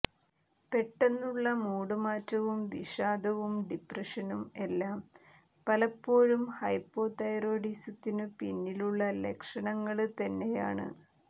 പെട്ടെന്നുള്ള മൂഡ് മാറ്റവും വിഷാദവും ഡിപ്രഷനും എല്ലാം പലപ്പോഴും ഹൈപ്പോതൈറോയ്ഡിസത്തിനു പിന്നിലുള്ള ലക്ഷണങ്ങള് തന്നെയാണ്